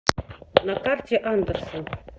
на карте андерсон